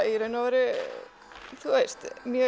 í raun og veru mjög